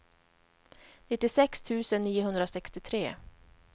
nittiosex tusen niohundrasextiotre